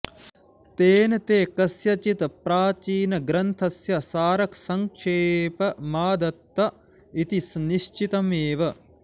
तेन ते कस्यचित् प्राचीन ग्रन्थस्य सारसङ्क्षेपमादत्त इति निश्चितमेव